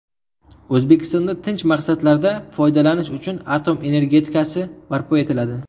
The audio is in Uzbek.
O‘zbekistonda tinch maqsadlarda foydalanish uchun atom energetikasi barpo etiladi.